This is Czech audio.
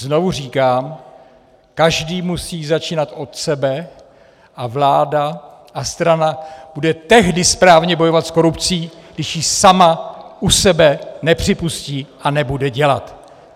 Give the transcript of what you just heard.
Znovu říkám, každý musí začínat od sebe a vláda a strana bude tehdy správně bojovat s korupcí, když ji sama u sebe nepřipustí a nebude dělat.